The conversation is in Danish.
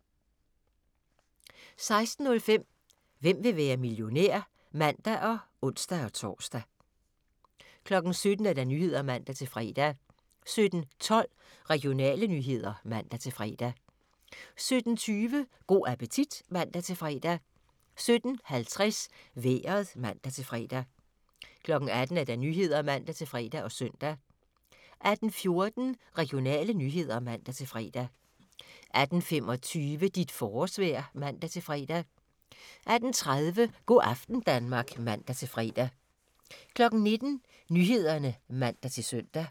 16:05: Hvem vil være millionær? (man og ons-tor) 17:00: Nyhederne (man-fre) 17:12: Regionale nyheder (man-fre) 17:20: Go' appetit (man-fre) 17:50: Vejret (man-fre) 18:00: Nyhederne (man-fre og søn) 18:14: Regionale nyheder (man-fre) 18:25: Dit forårsvejr (man-fre) 18:30: Go' aften Danmark (man-fre) 19:00: Nyhederne (man-søn)